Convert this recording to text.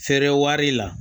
Feere wari la